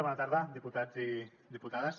bona tarda diputats i diputades